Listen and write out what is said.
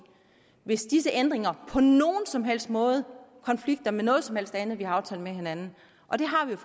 hvis disse ændringer på nogen som helst måde konflikter med noget som helst andet vi har aftalt med hinanden og det har vi